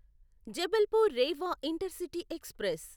Jabalpur Rewa intercity express